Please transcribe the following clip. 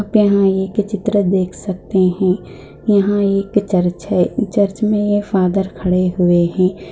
यहाँ पे एक चित्र देख सखते है यहा एक चर्च में एक फादर खड़े हुए है।